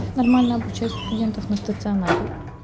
нормально обучают студентов на стационаре